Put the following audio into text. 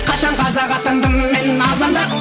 қашан қазақ атандым мен азандап